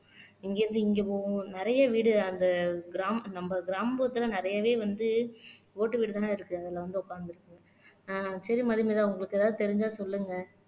இங்க இருந்து இங்க போகும் நிறைய வீடு அந்த கிராமம் நம்ம கிராமத்துல நிறையவே வந்து ஓட்டு வீடுதாண்ணா இருக்கு அதுல வந்து உட்கார்ந்திருக்கு ஆஹ் சரி மதுமிதா உங்களுக்கு ஏதாவது தெரிஞ்சா சொல்லுங்க